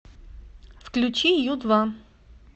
включи ю два